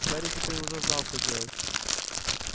гарри теперь уже знал что делать